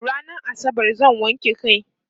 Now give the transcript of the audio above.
rannan asabar zan wanke kai